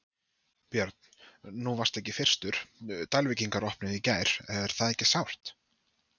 Björn: Nú varstu ekki fyrstur, Dalvíkingar opnuðu í gær, er það ekki sárt?